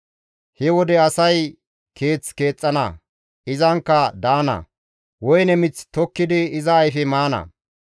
He wode asay keeth keexxana; izankka daana; woyne mith tokkidi iza ayfe maana.